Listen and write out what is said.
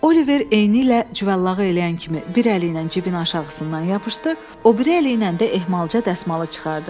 Oliver eynilə Cüvəllaha eləyən kimi, bir əliylə cibin aşağısından yapışdı, o biri əliylə də ehmalca dəsmalı çıxardı.